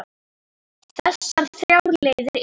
Þessar þrjár leiðir eru